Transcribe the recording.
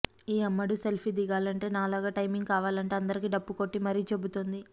ఈ అమ్మడు సెల్ఫీ దిగాలంటే నాలాగా టైమింగ్ కావాలంటూ అందరికీ డప్పు కొట్టీ మరీ చెబుతోంది